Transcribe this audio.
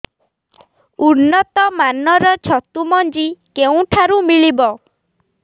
ଉନ୍ନତ ମାନର ଛତୁ ମଞ୍ଜି କେଉଁ ଠାରୁ ମିଳିବ